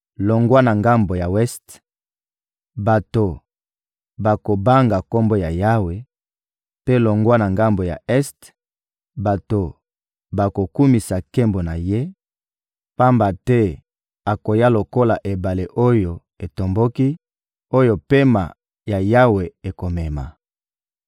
Longwa na ngambo ya weste, bato bakobanga Kombo ya Yawe; mpe longwa na ngambo ya este, bato bakokumisa nkembo na Ye; pamba te akoya lokola ebale oyo etomboki, oyo pema ya Yawe ekomema.